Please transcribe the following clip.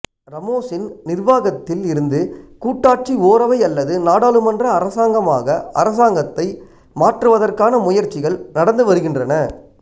ராமோசின் நிர்வாகத்தில் இருந்து கூட்டாட்சி ஓரவை அல்லது நாடாளுமன்ற அரசாங்கமாக அரசாங்கத்தை மாற்றுவதற்கான முயற்சிகள் நடந்து வருகின்றன